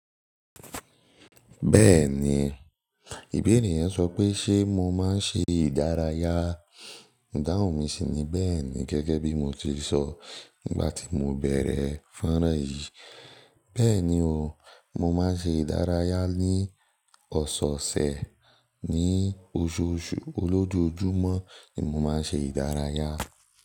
Bẹ́ẹ̀ni, ìbéèrè yẹn sọ pé ṣe mo máa ń ṣe ìdárayá. Ìdáhùn mi sì ni bẹ́ẹ̀ni gẹ́gẹ́ bí mo ti sọ nígbà tí mo bẹ̀rẹ̀ fánrán yìí. Bẹ́ẹ̀ni o, mo máa ń ṣe ìdárayá ní ọ̀sẹ̀ẹ̀sẹ̀ ní oṣooṣù, olójoojúmọ́ ni mo máa ń ṣe ìdárayá.